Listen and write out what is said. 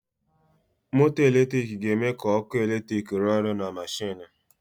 Moto eletrik ga-eme ka ọkụ eletrik rụọ ọrụ na mashinu.